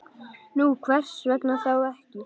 Nú, hvers vegna þá ekki?